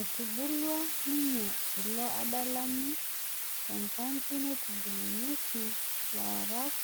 etubulua ninye ilo adalani tenkampi naitubulunyieki laarak